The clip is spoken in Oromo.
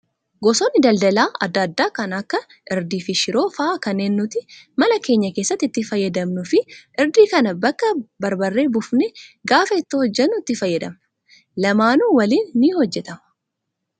Gosoonni daldala adda addaa kan akka irdii fi shiroo fa'aa kanneen nuti mana keenya keessatti itti fayyadamnuu fi irdii kana bakka barbaree buufnee gaafa ittoo hojjannu itti fayyadamna. Lamaanuu waliin ni hojjatamu.